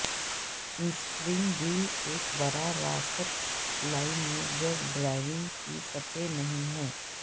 steering wheel ایک براہ راست لائن میں جب ڈرائیونگ کی سطح نہیں ہے